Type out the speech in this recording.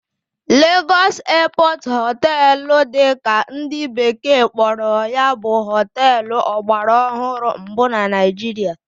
Lagos Airport Hotel' dị ka ndị bekee kpọrọ ya bụ hóteélụ̀ ọgbaraọhụrụ mbụ na Naịjirịa